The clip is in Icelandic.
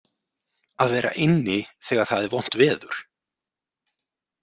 Að vera inni þegar það er vont veður.